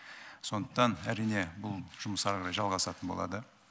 сондықтан әрине бұл жұмыс әрі қарай жалғасатын болады